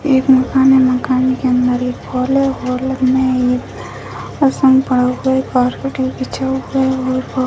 एक मकान है | मकान के अंदर एक हॉल है हॉल में एक आसन पड़ा हुआ है कार्पेट भी बिछा हुआ है और --